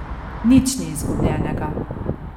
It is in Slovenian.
Nič ni izgubljenega.